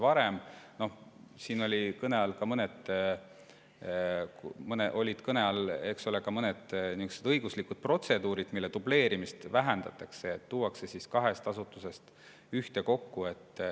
Varem olid siin kõne all, eks ole, ka mõned õiguslikud protseduurid, mille dubleerimist vähendatakse, need tuuakse kahest asutusest ühtekokku.